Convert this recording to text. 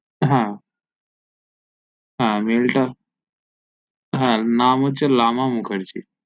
হ্যা হ্যা মেইল টা হ্যা নাম হচ্ছে লামা মুখার্জি